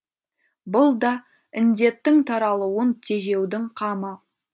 бұл да індеттің таралуын тежеудің қамы